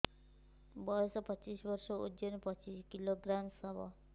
ବୟସ ପଚିଶ ବର୍ଷ ଓଜନ ପଚିଶ କିଲୋଗ୍ରାମସ ହବ